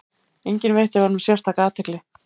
Enginn veitti honum sérstaka athygli.